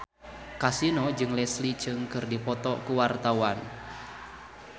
Kasino jeung Leslie Cheung keur dipoto ku wartawan